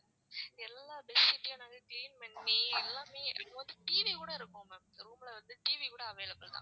எல்லா facility யும் நாங்க clean பண்ணி எல்லாமே remote TV கூட இருக்கும் ma'am room ல வந்து TV கூட available ma'am